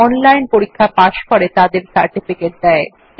যারা অনলাইন পরীক্ষা পাস করে তাদের সার্টিফিকেট দেয়